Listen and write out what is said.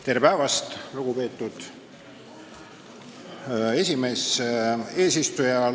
Tere päevast, lugupeetud eesistuja!